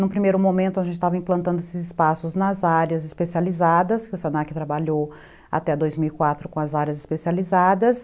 Num primeiro momento, a gente estava implantando esses espaços nas áreas especializadas, que o se na que trabalhou até dois mil e quatro com as áreas especializadas.